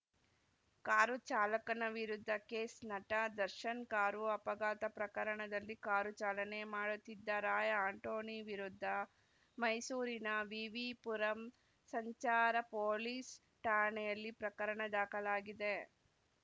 car ಚಾಲಕನ ವಿರುದ್ಧ case ನಟ ದರ್ಶನ್‌ ಕಾರು ಅಪಘಾತ ಪ್ರಕರಣದಲ್ಲಿ ಕಾರು ಚಾಲನೆ ಮಾಡುತ್ತಿದ್ದ ರಾಯ್‌ ಆಂಟೋನಿ ವಿರುದ್ಧ ಮೈಸೂರಿನ ವಿವಿ ಪುರಂ ಸಂಚಾರ ಪೊಲೀಸ್‌ ಠಾಣೆಯಲ್ಲಿ ಪ್ರಕರಣ ದಾಖಲಾಗಿದೆ